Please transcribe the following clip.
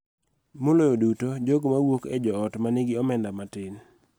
Maloyo duto, jogo ma wuok e joot ma nigi omenda matin.